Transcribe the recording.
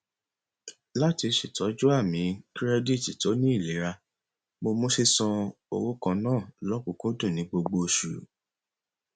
láti ṣètọju àmì kirẹditi tó ní ilera mo mú sísan owó kan naa lókùnkúndùn ní gbogbo oṣù